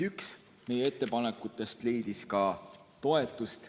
Üks meie ettepanekutest leidis ka toetust.